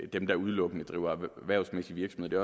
dem der udelukkende driver erhvervsmæssig virksomhed det